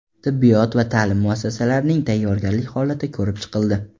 Tibbiyot va ta’lim muassasalarining tayyorgarlik holati ko‘rib chiqildi.